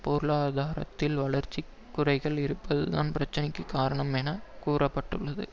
பொருளாதாரத்தில் வளர்ச்சி குறைவு இருப்பதுதான் பிரச்சினைக்கு காரணம் என கூற்ப்பட்டுள்ளது